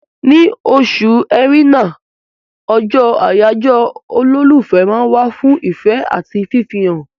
Ní oṣù Ẹrẹ́nà, ọjọ́ àyájọ́ olólùfẹ́ ma wà fún ìfẹ́ àti fìfẹ́án